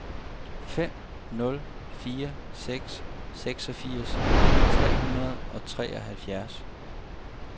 fem nul fire seks seksogfirs tre hundrede og treoghalvfjerds